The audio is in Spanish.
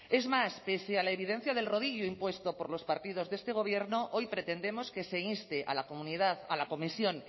es más pese a la evidencia del rodillo impuesto por los partidos de este gobierno hoy pretendemos que se inste a la comunidad a la comisión